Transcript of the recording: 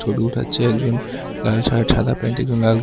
ছবি উঠাচ্ছে একজন লাল শার্ট সাদা প্যান্ট একজন লাল গেন--